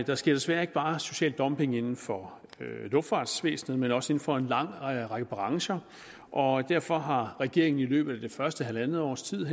der sker desværre ikke bare social dumping inden for luftfartsvæsenet men også inden for en lang række brancher og derfor har regeringen i løbet af det første halvandet års tid